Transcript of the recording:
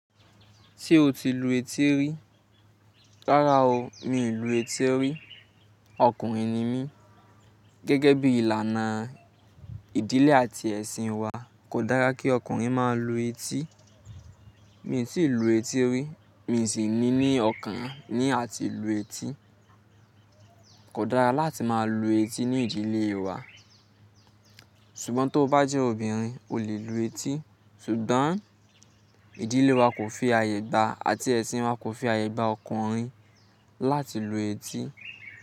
Ṣé o ti lu etí rí? Rárá o, mi ò lu etí rí. Ọkùnrin ni mí, gẹ́gẹ́ bí ìlànà ìdílé àti ẹ̀sìn wa kò dára kí ọkùnrin má a lu etí. Mi ò tí ì lu etí rí, mi sì ní ní ọkàn ní à ti lu etí. Kò dára láti má a lu etí ní ìdílé wa. Ṣùgbọ́n tó bá jẹ́ obìnrin o lè lu etí. Ṣùgbọ́n ìdílé wa kò fi àyè gba àti ẹ̀sìn wa kò fi àyè gba ọkùnrin láti lu etí.